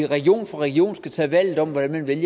region for region skal tage valget om hvordan man vil